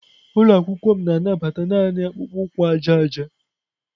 Ụlọ akwụkwọ m na-anabata naanị akpụkpọ ụkwụ aja aja.